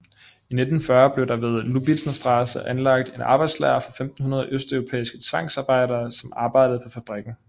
I 1940 blev der ved Lübnitzer Straße anlagt en arbejdslejr for 1500 østeuropæiske tvangsarebejdere som arbejdede på fabrikken